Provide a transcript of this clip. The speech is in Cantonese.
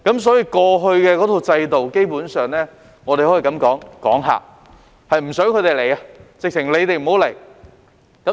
所以，過去的制度，基本上可以說是"趕客"，是不想他們來，簡直是叫他們不要來。